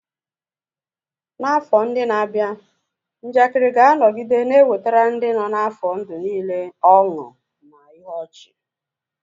N'afọ ndị na-abịa, njakịrị ga-anọgide na-ewetara ndị nọ n'afọ ndụ niile ọṅụ na ihe ọchị.